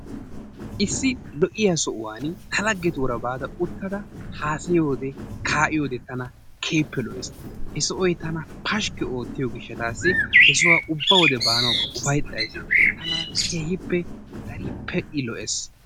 Issi lo'iya sohuwan ta laggetuura baada uttada haasayiyode, kaa'iyode tana keehippe lo'ees. He Sohoy tana pashkki oottiyo gishshataassi ubbatoo he sohuwa baanawu koyays. Tana keehippe I lo'ees.